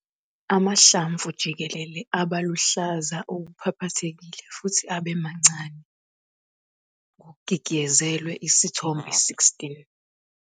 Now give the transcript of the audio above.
Amahlamvu jikelele aba luhlaza okuphaphathekile futhi abe mancane, Isithombe 16.